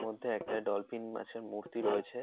মধ্যে একটা ডলফিন মাছের মূর্তি রয়েছে।